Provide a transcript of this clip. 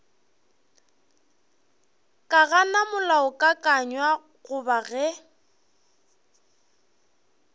ka gana molaokakanywa goba ge